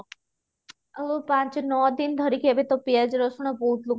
ଆଉ ପାଞ୍ଚ ନଅ ଦିନ ଧରିକି ଏବେ ତ ପିଆଜ ରସୁଣ ବହୁତ ଲୋକ